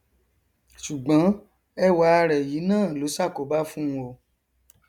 sùgbọn ẹwà rẹ yìí náà ló ṣàkóbá fún un o